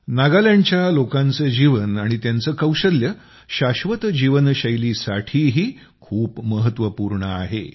नागालँडच्या लोकांचं जीवन आणि त्यांचं कौशल्य शाश्वत जीवनशैलीसाठीही खूप महत्वपूर्ण आहे